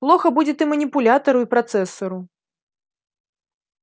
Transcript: плохо будет и манипулятору и процессору